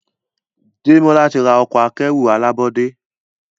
Demola tí rà Ọkọ̀ akẹ́rù alábọ́dé.